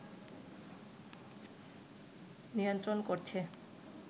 নিয়ন্ত্রণ করছে